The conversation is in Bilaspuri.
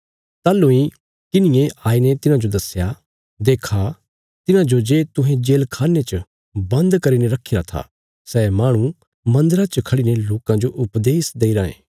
ताहलूं इ किन्हिये आईने तिन्हांजो दस्या देक्खा तिन्हांजो जे तुहें जेलखान्ने च बन्द करीने रखीरा था सै माहणु मन्दरा च खड़ीने लोकां जो उपदेश देई रायें